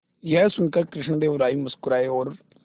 यह सुनकर कृष्णदेव राय मुस्कुराए और